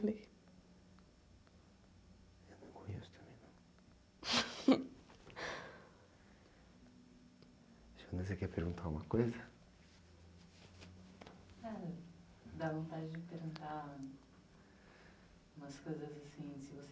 não conheço também, não. você quer perguntar alguma coisa?h, dá vontade de perguntar umas coisas assim, se você...